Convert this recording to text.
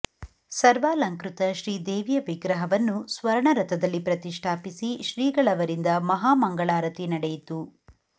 ಸರ್ವಾಲಂಕೃತ ಶ್ರೀ ದೇವಿಯ ವಿಗ್ರಹವನ್ನು ಸ್ವರ್ಣರಥದಲ್ಲಿ ಪ್ರತಿಷ್ಠಾಪಿಸಿ ಶ್ರೀಗಳವರಿಂದ ಮಹಾ ಮಂಗಳಾರತಿ ನಡೆಯಿತು